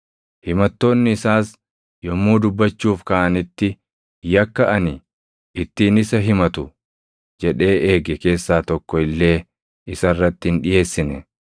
Himattoonni isaas yommuu dubbachuuf kaʼanitti yakka ani ittiin isa himatu jedhee eege keessaa tokko illee isa irratti hin dhiʼeessine.